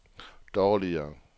dårligere